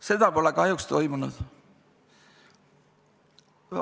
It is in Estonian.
Seda pole kahjuks toimunud.